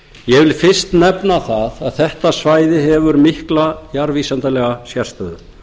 ég vil fyrst nefna það að þetta svæði hefur mikla jarðvísindalega sérstöðu